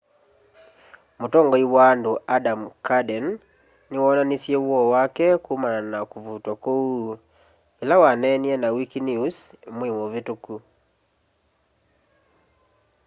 mũtongoĩ wa andũ adam cuerden nĩwoonanĩsye woo wake kũmana na kũvũtwa kũũ ĩla waneenĩe na wĩkĩnews mweĩ mũvĩtũkũ